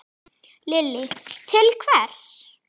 Lillý: Til hvers?